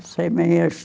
Sem minhas